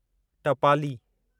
टपाली